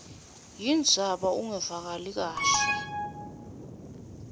wendzaba ungevakali kahle